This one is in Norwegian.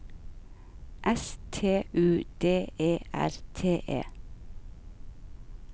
S T U D E R T E